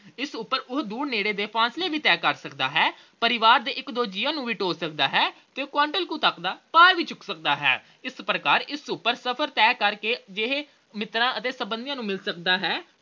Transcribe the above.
ਇਸ ਉਪਰ ਉਹ ਦੂਰ ਨੇੜੇ ਦੇ ਫਾਸਲੇ ਵੀ ਤੈਅ ਕਰ ਸਕਦਾ ਹੈ। ਪਰਿਵਾਰ ਦੇ ਇੱਕ ਦੋ ਜੀਆਂ ਨੂੰ ਵੀ ਢੋਅ ਸਕਦਾ ਹੈ ਤੇ quintal ਕੁ ਤੱਕ ਦਾ ਭਾਰ ਵੀ ਚੁੱਕ ਸਕਦਾ ਹੈ। ਇਸ ਪ੍ਰਕਾਰ ਇਸ ਉਪਰ ਸਫਰ ਤੈਅ ਕਰਕੇ ਮਿੱਤਰ ਤੇ ਸਬੰਧੀਆਂ ਨੂੰ ਮਿਲ ਸਕਦਾ ਹੈ